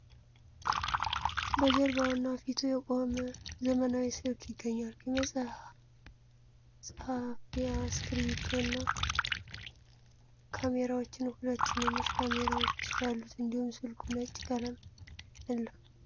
በጀርባውና ፊቱ የቆመ ዘመናዊ ስልክ ይገኛል የመጽሃፍያ ስክሪብቶና ል ካሜራዎችና 2 ትንንሽ ካሜራዎች አሉት እንዲሁም ስልኩ ነጭ ቀለም አለው ።